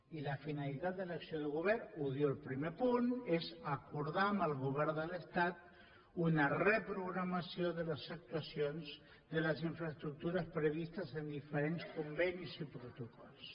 i la finalitat de l’acció de govern ho diu el primer punt és acordar amb el govern de l’estat una reprogramació de les actuacions de les infraestructures previstes en diferents convenis i protocols